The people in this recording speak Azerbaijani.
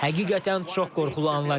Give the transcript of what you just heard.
Həqiqətən çox qorxulu anlar idi.